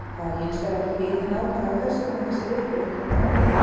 Það er hins vegar ekki vitað nákvæmlega hvers vegna þessi viðbrögð koma fram.